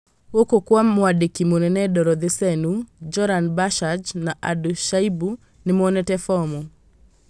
Gũkũ Kwa mwandĩki munene Dorothy Senu, Joran Bashage na Ado Shaibu nĩmoete fomu